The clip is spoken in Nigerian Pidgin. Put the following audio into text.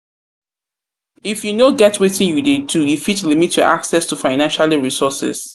if you no get wetin you de do e fit limit your access to financialy resources